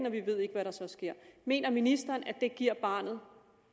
og vi ved ikke hvad der så sker mener ministeren at det giver barnet